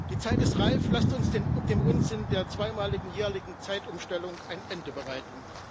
Die Zeit ist reif, lasst uns dem Unsinn der zweimaligen jährlichen Zeitumstellung ein Ende bereiten!